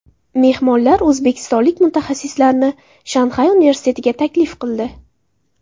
Mehmonlar o‘zbekistonlik mutaxassislarni Shanxay universitetiga taklif qildi.